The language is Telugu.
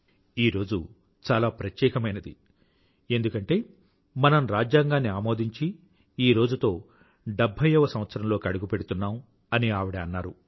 ఈ రోజు చాలా ప్రత్యేకమైనది ఎందుకంటే మనం రాజ్యాంగాన్ని ఆమోదించి ఈ రోజుతో డెభ్భైయవ సంవత్సరంలోకి అడుగుపెడుతున్నాం అని ఆవిడ అన్నారు